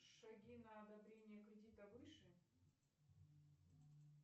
шаги на одобрение кредита выше